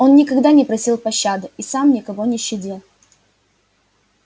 он никогда не просил пощады и сам никого не щадил